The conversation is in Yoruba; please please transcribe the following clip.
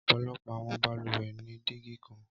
Ọpọlọpọ awọn balùwẹ ni digi kan.